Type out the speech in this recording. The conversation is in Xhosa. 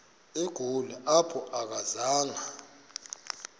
egoli apho akazanga